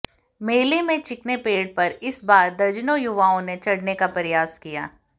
मेले में चिकने पेड़ पर इस बार दर्जनों युवाओं ने चढ़ने का प्रयास किया